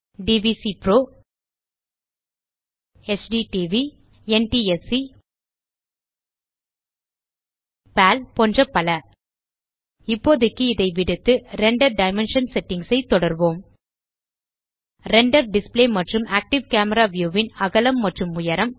டிவிசிபிரோ HDTV NTSC PAL போன்ற பல இப்போதைக்கு இதை விடுத்து ரெண்டர் டைமென்ஷன் செட்டிங்ஸ் ஐ தொடர்வோம் ரெண்டர் டிஸ்ப்ளே மற்றும் ஆக்டிவ் கேமரா வியூ ன் அகலம் மற்றும் உயரம்